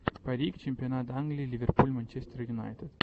парик чемпионат англии ливерпуль манчестер юнайтед